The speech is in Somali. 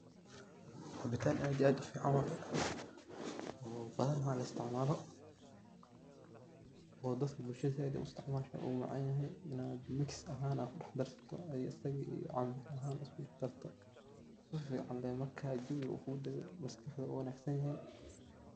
caabitan aad iyo aad u fican waye, oo badana laisticmalo oo dadka bulshada aad ay u isticmasho wuu macan yahay oo mix ahan isku dax darto asaga iyo canbo sifican lee marka uu jawi kudago aad bu u wanagsan yahay.